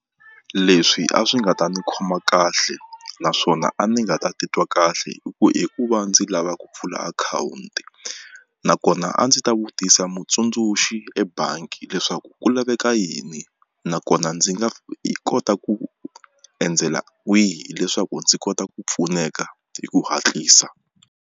Leswi a swi nga ta ni khoma kahle naswona a ni nga ta titwa kahle i ku hi ku va ndzi lava ku pfula akhawunti nakona a ndzi ta vutisa mutsundzuxi ebangi leswaku ku laveka yini nakona ndzi nga kota ku endzela wihi leswaku ndzi kota ku pfuneka hi ku hatlisa.